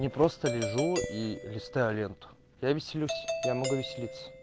не просто лежу и листаю ленту я веселюсь я могу веселиться